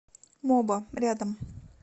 моба рядом